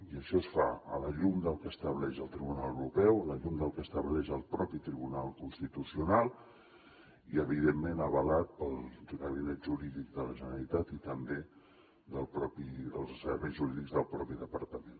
i això es fa a la llum del que estableix el tribunal europeu a la llum del que estableix el propi tribunal constitucional i evidentment avalat pel gabinet jurídic de la generalitat i també pels serveis jurídics del propi departament